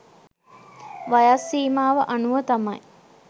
වයස් සීමාව අනුව තමයි